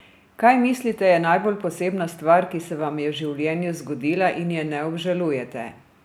Kaj mislite, je najbolj posebna stvar, ki se vam je v življenju zgodila, in je ne obžalujete?